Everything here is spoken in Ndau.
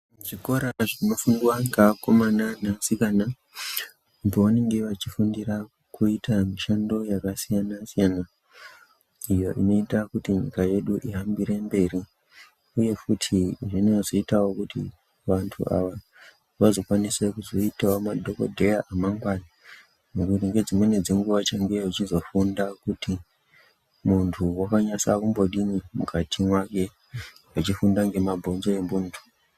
Zvikora zvinofundwa ngeakomana neasikana pavanenge vachifundira kuita mishando yakasiyana siyana iyo inoita kuti nyika yedu ihambire mberi. Uye futi zvinozoitawo kuti vantu ava vazokwanisa kuzoitawo madhokodheya emangwani . Ngekuti ngedzimweni dzenguwa vachange veizofunda kuti muntu wakanyasekumbodini mukati mwake vechifunda ngemabhonzo emuntu.